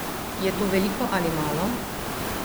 Je to veliko ali malo?